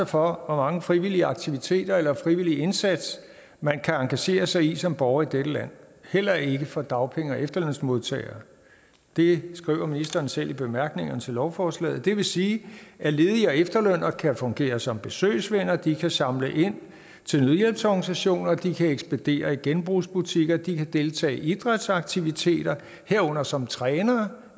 for hvor mange frivillige aktiviteter eller frivillige indsatser man kan engagere sig i som borger i dette land heller ikke for dagpenge og efterlønsmodtagere det skriver ministeren selv i bemærkningerne til lovforslaget det vil sige at ledige og efterlønnere kan fungere som besøgsvenner de kan samle ind til nødhjælpsorganisationer de kan ekspedere i genbrugsbutikker de kan deltage i idrætsaktiviteter herunder som trænere